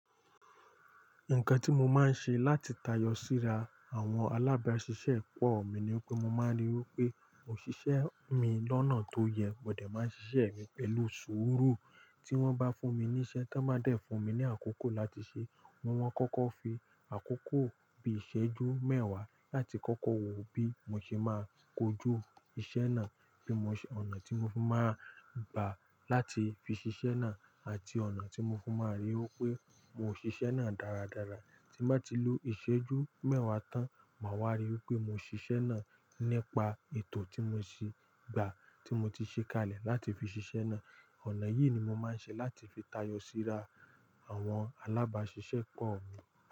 Nǹkan tí mo máa ń ṣe láti tayọ síra àwọn alábàáṣiṣẹ́ pọ̀ mi ni wípé mo máa ń rí i pé mo ṣiṣẹ́ mi lọ́nà tó yẹ, mo dẹ̀ máa ń ṣiṣẹ́ mi pẹ̀lú sùúrù. Tí wọ́n bá fún mi níṣẹ́ tí bá dẹ̀ fún mi ní àkókò láti ṣe, mo máa ń kọ́kọ́ fi àkókò bí i ìṣẹ́jú mẹ́wàá láti kọ́kọ́ wo bí mo ṣe máa kojú iṣẹ́ náà, bí mo ṣe-- ọ̀nà tí mo fún máa gba láti fi ṣiṣẹ́ náà àti ọ̀nà tí mo fi máa rí i pé mo ṣiṣẹ́ náà dáradára. Tí nbá ti lo ìṣẹ́jú mẹ́wàá tán, màá wá rí i pé mo ṣiṣẹ́ náà nípa ètò tí mo ṣe gba, tí mo ti ṣe kalẹ̀ láti fi ṣiṣẹ́ náà. Ọ̀nà yìí ni mo máa ń ṣe láti fi tayọ síra àwọn alábáṣiṣẹ́ pọ̀ mi.